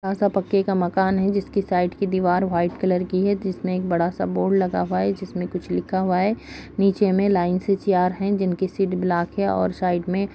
पक्के का मकान है जिसके साइट की दीवार व्हाइट कलर की है जिसमें एक बड़ा सा बोर्ड लगा हुआ है जिसमें कुछ लिखा हुआ है नीचे में लाइन से चेयर है जिनकी सीट ब्लैक है और साइड में --